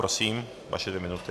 Prosím, vaše dvě minuty.